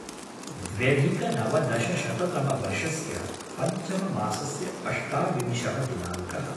द्व्यधिकनवदशशततमवर्षस्य पञ्चममासस्य अष्टाविंशः दिनाङ्कः